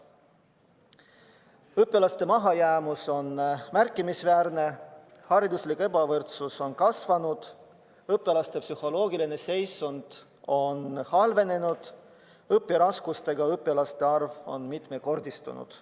Õpilaste mahajäämus on märkimisväärne, hariduslik ebavõrdsus on kasvanud, õpilaste psühholoogiline seisund on halvenenud, õpiraskustega õpilaste arv on mitmekordistunud.